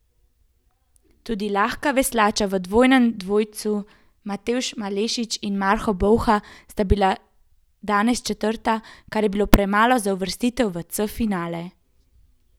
Tudi lahka veslača v dvojnem dvojcu Matevž Malešič in Marko Bolha sta bila danes četrta, kar je bilo premalo za uvrstitev v C finale.